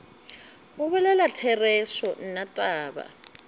go bolela therešo nna taba